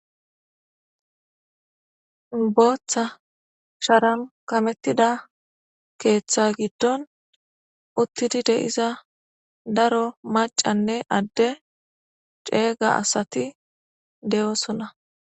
Booththa sharan kamettida keeththa giddon uttidi de'iza daro macanne adde ceega asati de'osona.